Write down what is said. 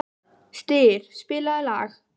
Styr, spilaðu lag.